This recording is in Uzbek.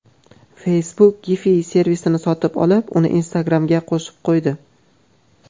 Facebook Giphy servisini sotib olib, uni Instagram’ga qo‘shib qo‘ydi.